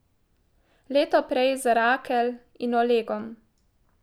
Leto prej z Rakel in Olegom.